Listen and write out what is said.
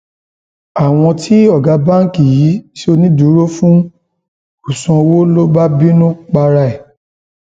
àwọn tí ọgá báǹkì yìí ṣonídùúró fún kò sanwó ló bá bínú para ẹ